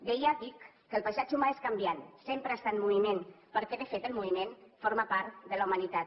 deia dic que el paisatge humà és canviant sempre està en moviment perquè de fet el moviment forma part de la humanitat